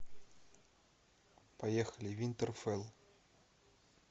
поехали винтерфелл